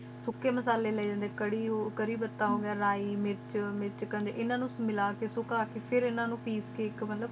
ਸੋਕੇ ਮਸਲੇ ਲਏ ਜਾਂਦੇ ਕਰੀ ਓ ਕਰਿਪਾਤਾ ਲੈ ਮੇਥੀ ਮਿਰਚ ਏਨਾ ਨੂ ਮਿਲਾ ਕ ਸੋਕਾ ਕ ਫਾਇਰ ਏਨਾ ਨੂ ਪੀਸ ਕ ਆਇਕ ਮਤਲਬ